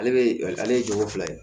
Ale bɛ ale ye jogo fila ye